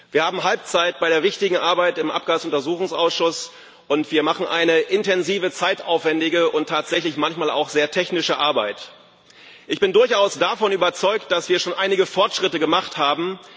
Wir haben Halbzeit bei der wichtigen Arbeit im Abgas Untersuchungsausschuss, und wir machen eine intensive zeitaufwändige und tatsächlich manchmal auch sehr technische Arbeit. Ich bin durchaus davon überzeugt, dass wir schon einige Fortschritte gemacht haben.